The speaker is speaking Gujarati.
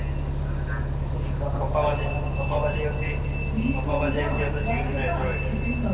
પાપા પાસ એ વખતે હતા. જીઓ નો android